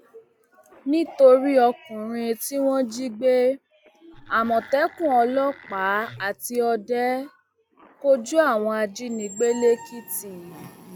nítorí ọkùnrin tí wọn jí gbé àmọtẹkùn ọlọpàá àti ọdẹ kọjú àwọn ajínigbé lẹkìtì